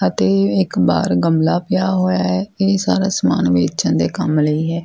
ਅਤੇ ਇੱਕ ਬਾਹਰ ਗਮਲਾ ਪਿਆ ਹੋਇਆ। ਇਹ ਸਾਰਾ ਸਮਾਨ ਵੇਚਣ ਦੇ ਕੰਮ ਲਈ ਐ।